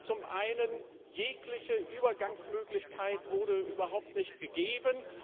Zum einen Jegliche Übergangsmöglichkeit wurde überhaupt nicht gegeben.